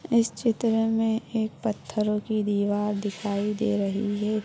इस चित्र में एक पत्थरों की दीवार दिखाई दे रही है।